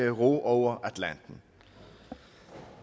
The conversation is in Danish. at ro over atlanten